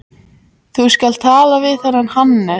Þú skalt tala við þennan Hannes.